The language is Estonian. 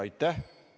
Aitäh!